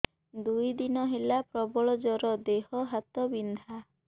ଦୁଇ ଦିନ ହେଲା ପ୍ରବଳ ଜର ଦେହ ହାତ ବିନ୍ଧା